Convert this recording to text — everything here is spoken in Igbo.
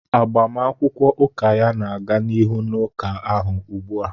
Agbamakwụkwọ ụka ya na-aga n'ihu n'ụka ahụ ugbu a